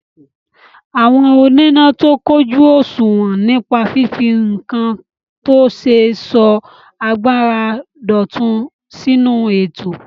Àwọn oníná tó kójù òṣùwọ̀n nípa fífi nǹkan tó ṣe sọ agbára dọ̀tun sínú ètò.